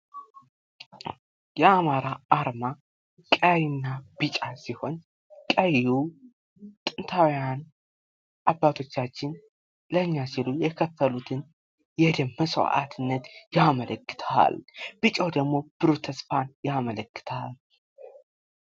የአማራ አርማ ቀይ እና ቢጫ ሲሆን ቀዩ ጥንታውያን አባቶቻችን ለእኛ ሲሉ የከፈሉትን የደም መስዋዕትነት ያመለከታል። ቢጫ ደግሞ ብሩህ ተስፋን ያመለክታል።